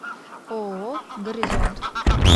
ооо горизонт